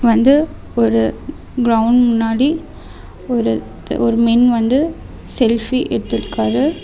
வந்து ஒரு கிரவுண்ட் முன்னாடி ஒருத்த ஒரு மென் வந்து செல்ஃபி எடுத்துட்டிருக்காரு.